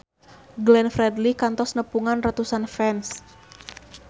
Glenn Fredly kantos nepungan ratusan fans